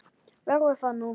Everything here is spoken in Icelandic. Verður það þú?